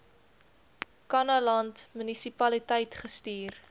kannaland munisipaliteit gestuur